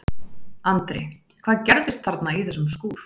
Andri: Hvað gerðist þarna í þessum skúr?